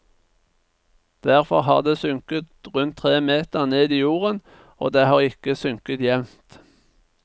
Derfor har det sunket rundt tre meter ned i jorden, og det har ikke sunket jevnt.